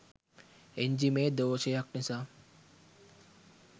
එන්ජිමේ දෝෂයක් නිසා